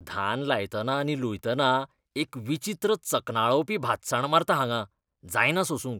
धान लायतना आनी लुयतनाय एक विचित्र चकनळावपी भातसाण मारता हांगां. जायना सोंसूंक.